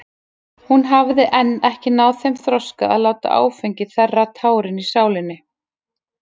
Hún hafði enn ekki náð þeim þroska að láta áfengi þerra tárin í sálinni.